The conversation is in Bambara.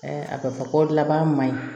a bɛ fɔ ko laban ma ɲi